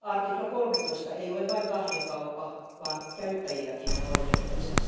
Artikla 13 ei ole vain kahden kauppa vaan käyttäjilläkin on oikeutensa.